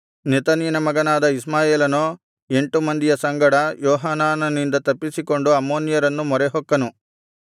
ನೆತನ್ಯನ ಮಗನಾದ ಇಷ್ಮಾಯೇಲನೋ ಎಂಟು ಮಂದಿಯ ಸಂಗಡ ಯೋಹಾನಾನನಿಂದ ತಪ್ಪಿಸಿಕೊಂಡು ಅಮ್ಮೋನ್ಯರನ್ನು ಮೊರೆಹೊಕ್ಕನು